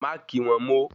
Màá kí wọ́n mo